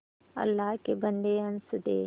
अल्लाह के बन्दे हंस दे